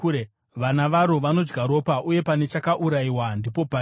Vana varo vanodya ropa, uye pane chakaurayiwa ndipo pariri.”